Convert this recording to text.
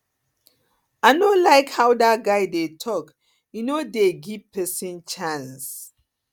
i no like how dat guy dey talk he no dey give person chance